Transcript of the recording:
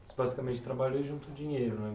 Você basicamente trabalhou juntou dinheiro, né?